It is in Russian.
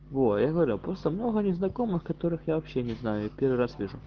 во я говорю просто много незнакомых которых я вообще не знаю и первый раз вижу